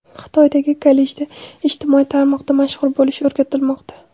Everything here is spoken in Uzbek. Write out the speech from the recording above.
Xitoydagi kollejda ijtimoiy tarmoqda mashhur bo‘lish o‘rgatilmoqda.